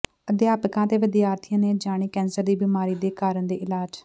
ਅਧਿਆਪਕਾਂ ਤੇ ਵਿਦਿਆਰਥੀਆਂ ਨੇ ਜਾਣੇ ਕੈਂਸਰ ਦੀ ਬੀਮਾਰੀ ਦੇ ਕਾਰਨ ਤੇ ਇਲਾਜ